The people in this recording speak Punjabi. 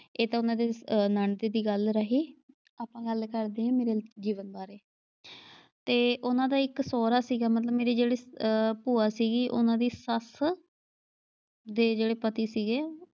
ਇਹ ਤਾਂ ਉਨ੍ਹਾਂ ਦੀ ਨਣਦ ਦੀ ਗੱਲ ਰਹੀ। ਆਪਾਂ ਗੱਲ ਕਰਦੇ ਆਂ ਮੇਰੇ ਜੀਵਨ ਬਾਰੇ ਤੇ ਉਨ੍ਹਾਂ ਦਾ ਇੱਕ ਸਹੁਰਾ ਸੀਗਾ ਮਤਲਬ ਮੇਰੀ ਜਿਹੜੀ ਅ ਭੂਆ ਸੀਗੀ ਉਨ੍ਹਾਂ ਦੀ ਸੱਸ ਦੇ ਜਿਹੜੇ ਪਤੀ ਸੀਗੇ।